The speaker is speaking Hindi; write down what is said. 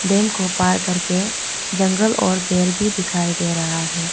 डैम को पार करके जंगल और पेर भी दिखाई दे रहा है।